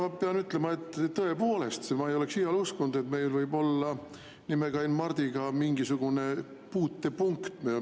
Ma pean ütlema, et tõepoolest, ma ei oleks iial uskunud, et meil võib olla nimekaim Mardiga mingisugune puutepunkt.